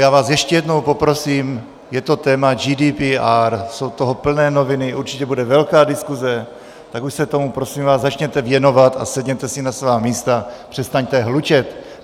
Já vás ještě jednou poprosím, je to téma GDPR, jsou toho plné noviny, určitě bude velká diskuze, tak už se tomu prosím vás začněte věnovat a sedněte si na svá místa, přestaňte hlučet.